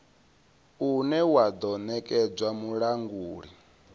une wa do nekedzwa mulanguli